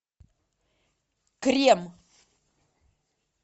крем